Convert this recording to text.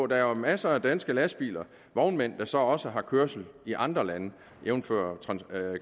der jo er masser af danske lastbiler og vognmænd der så også har kørsel i andre lande jævnfør